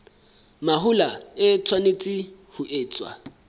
mahola e tshwanetse ho etswa